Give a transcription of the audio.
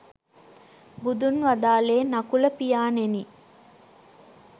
බුදුන් වදාළේ නකුල පියාණෙනි